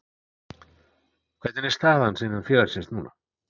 Hvernig er staða hans innan félagsins núna?